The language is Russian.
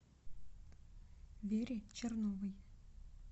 вере черновой